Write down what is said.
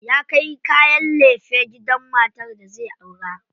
Ya kai kayan lefe gidan matar da zai aura.